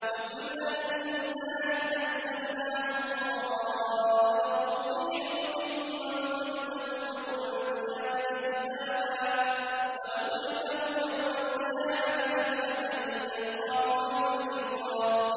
وَكُلَّ إِنسَانٍ أَلْزَمْنَاهُ طَائِرَهُ فِي عُنُقِهِ ۖ وَنُخْرِجُ لَهُ يَوْمَ الْقِيَامَةِ كِتَابًا يَلْقَاهُ مَنشُورًا